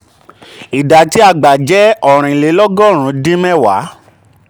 ìdá tí a gbà jẹ́ ---ọ̀rìn lé lọ́gọ́rù-ún dín mẹwàá---.